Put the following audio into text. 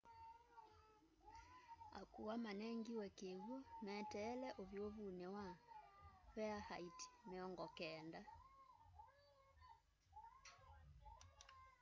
akuwa manengiwe kiw'u meteele uvyuvuni wa farenheit 90